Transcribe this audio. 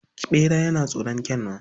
Ɓera yana tsoron Kyanwa